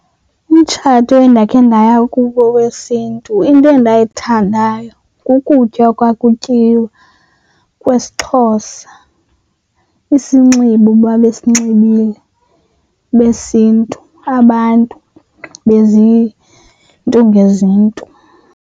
Umtshato endakhe ndaya kuwo wesiNtu into endayithandayo kukutya okwakutyiwa kwesiXhosa. Isinxibo babesinxibile besiNtu abantu beziNtu ngeziNtu.